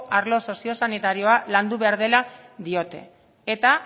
arlo sozio sanitarioa landu behar dela diote eta